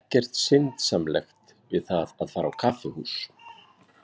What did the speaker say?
Ekkert syndsamlegt við það að fara á kaffihús.